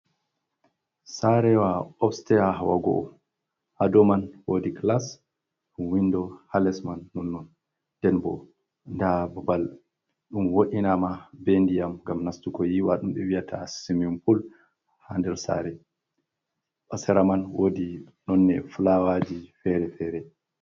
Saarewa upstair, hawa go'o, hadow mai woodi gilas windo, haa les mai ɗoh, ndenbo nda babal ɗum wo'inama bee diyam ngam nastugo yiiwa, ɗum ɓewi'ata siwimin pul haa nder saare, ha sera mai wodi nonnde filawaji feere feere.